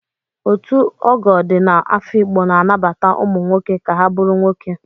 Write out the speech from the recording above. Ọtu ogoo di na afikpo na-anabata ụmụ nwoke ka ha bụrụ nwoke.